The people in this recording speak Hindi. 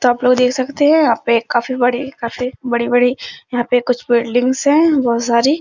तो आप लोग देख सकते है यहाँ पे काफी बड़ी काफी बड़ी-बड़ी यहाँ पे कुछ बिल्डिंग्स हैं बहोत सारी।